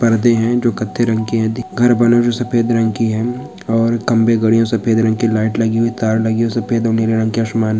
परदे है जो कथाई रंग के है घर बने हुए सफेद रंग की है और खंबे गड़े हुए है सफेद रंग की लाइट लगी हुई है तार लगी हुई सफेद रंग का आसमान--